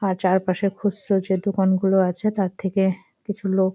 আর চারপাশে খুচরো যে দোকান গুলো আছে তার থেকে কিছু লোক--